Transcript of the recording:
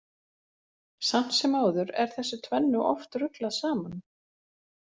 Samt sem áður er þessu tvennu oft ruglað saman.